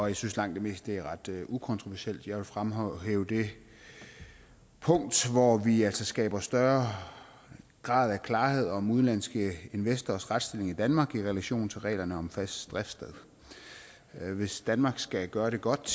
jeg synes langt det meste er ret ukontroversielt men jeg vil fremhæve det punkt hvor vi altså skaber større grad af klarhed om udenlandske investorers retsstilling i danmark i relation til reglerne om fast driftssted hvis danmark skal gøre det godt